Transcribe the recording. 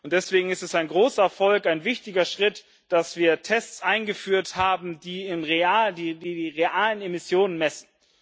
Deswegen ist es ein großer Erfolg, ein wichtiger Schritt, dass wir Tests eingeführt haben, die die realen Emissionen messen.